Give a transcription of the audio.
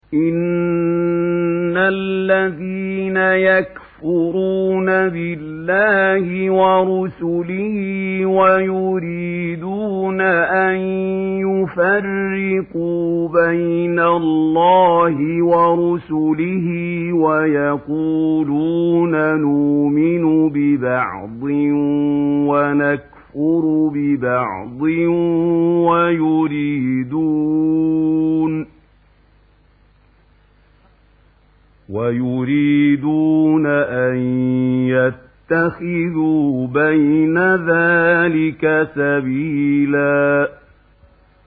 إِنَّ الَّذِينَ يَكْفُرُونَ بِاللَّهِ وَرُسُلِهِ وَيُرِيدُونَ أَن يُفَرِّقُوا بَيْنَ اللَّهِ وَرُسُلِهِ وَيَقُولُونَ نُؤْمِنُ بِبَعْضٍ وَنَكْفُرُ بِبَعْضٍ وَيُرِيدُونَ أَن يَتَّخِذُوا بَيْنَ ذَٰلِكَ سَبِيلًا